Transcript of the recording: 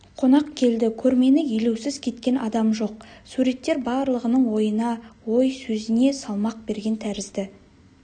қонақ келді көрмені елеусіз кеткен адам жоқ суреттер барлығының ойына ой сөзіне салмақ берген тәрізді